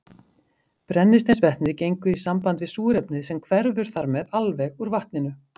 Brennisteinsvetnið gengur í samband við súrefnið sem hverfur þar með alveg úr vatninu.